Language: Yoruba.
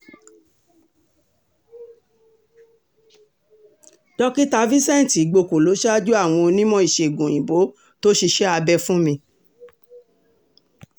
dókítà vincent igbóko ló ṣáájú àwọn onímọ̀-ìṣègùn òyìnbó tó ṣiṣẹ́ abẹ fún mi